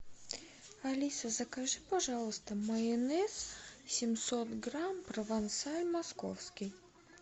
алиса закажи пожалуйста майонез семьсот грамм провансаль московский